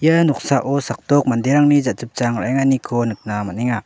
ia noksao sakdok manderangni jachipchang ra·enganiko nikna man·enga.